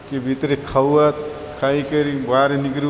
के भीतरे खाऊआत खाई करी गवारे निकरु--